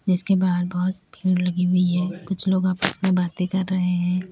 जिसके बाहर बहुत भीड़ लगी हुई है कुछ लोग आपस में बातें कर रहे हैं।